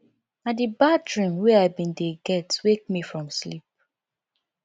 na di bad dream wey i bin dey get wake me from sleep